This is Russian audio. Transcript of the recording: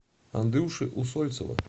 андрюши усольцева